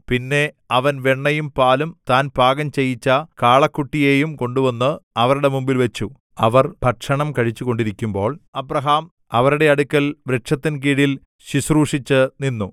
പിന്നെ അവൻ വെണ്ണയും പാലും താൻ പാകം ചെയ്യിച്ച കാളക്കുട്ടിയെയും കൊണ്ടുവന്ന് അവരുടെ മുമ്പിൽവച്ചു അവർ ഭക്ഷണം കഴിച്ചുകൊണ്ടിരിക്കുമ്പോൾ അബ്രാഹാം അവരുടെ അടുക്കൽ വൃക്ഷത്തിൻ കീഴിൽ ശുശ്രൂഷിച്ചു നിന്നു